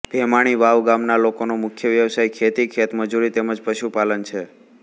ભેમાણી વાવ ગામના લોકોનો મુખ્ય વ્યવસાય ખેતી ખેતમજૂરી તેમ જ પશુપાલન છે